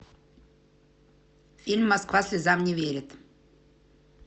фильм москва слезам не верит